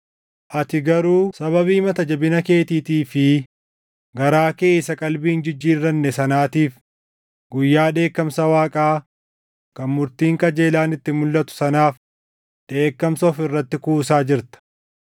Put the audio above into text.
Ati garuu sababii mata jabina keetiitii fi garaa kee isa qalbii hin jijjiirranne sanaatiif guyyaa dheekkamsa Waaqaa kan murtiin qajeelaan itti mulʼatu sanaaf dheekkamsa of irratti kuusaa jirta.